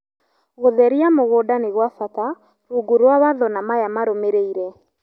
Gũtheria mũgũnda ni gwa bata rungu rwa watho na Maya marũmĩrĩire